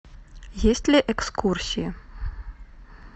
есть ли экскурсии